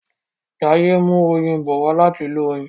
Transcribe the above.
Jaiye n mú oyin bó wá láti ilé oyin